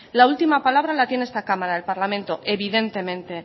la última palabra la tiene esta cámara el parlamento evidentemente